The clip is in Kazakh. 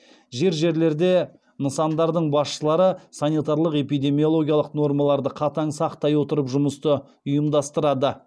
жер жерлерде нясындардың басшылары санитарлық эпидемиологиялық нормаларды қатаң сақтай отырып жұмысты ұйымдастырады